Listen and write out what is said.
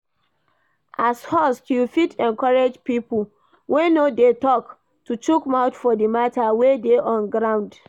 As host you fit encourage pipo wey no dey talk to chook mouth for di matter wey dey on ground